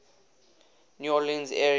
new orleans area